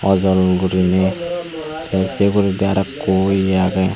awjol guriney tey sey uguredi arow ikko iye agey.